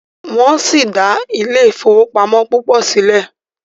wón si dá Ile-ifowopamọ púpọ síle.